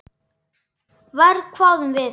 Verr, hváðum við.